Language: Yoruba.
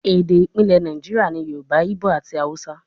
Ede ipilẹ Naijiria ni Yoruba, Igbo ati Hausa